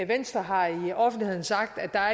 venstre har i offentligheden sagt at der